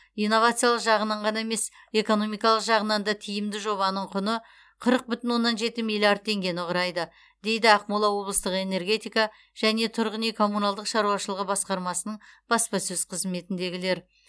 инновациялық жағынан ғана емес экономикалық жағынан да тиімді жобаның құны қырық бүтін оннан жеті миллиард теңгені құрайды дейді ақмола облыстық энергетика және тұрғын үй коммуналдық шаруашылығы басқармасының баспасөз қызметіндегілер